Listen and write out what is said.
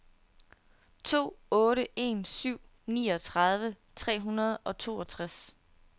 to otte en syv niogtredive tre hundrede og toogtres